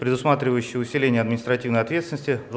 предусматривающие усиление административной ответственности